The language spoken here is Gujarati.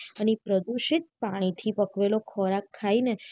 અને એ પ્રદુષિત પાણી થી પકવેલો ખોરાક ખાઈ ને